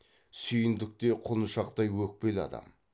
сүйіндік те құлыншақтай өкпелі адам